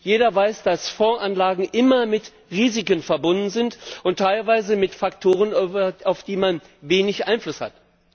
Jeder weiß, dass Fondsanlagen immer mit Risiken verbunden sind, und teilweise mit Faktoren, auf die man wenig Einfluss hat.